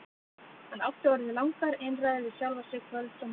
Hann átti orðið langar einræður við sjálfan sig kvölds og morgna.